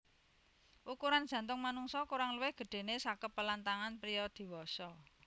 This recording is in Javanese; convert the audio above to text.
Ukuran jantung manungsa kurang luwih gedhéné sakepelan tangan priya diwasa